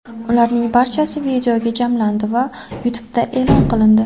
Ularning barchasi videoga jamlandi va YouTube’da e’lon qilindi.